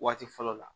Waati fɔlɔ la